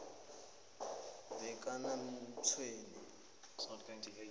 bakanamtshweni